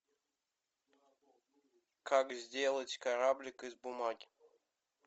как сделать кораблик из бумаги